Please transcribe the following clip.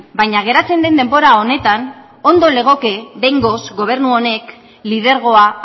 baina geratzen den denbora honetan ondo legoke behingoz gobernu honek lidergoa